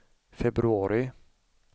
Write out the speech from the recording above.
februari